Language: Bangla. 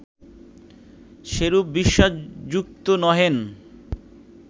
সেরূপ বিশ্বাসযুক্ত নহেন